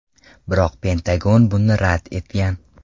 Biroq Pentagon buni rad etgan.